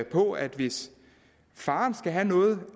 på at hvis faren skal have noget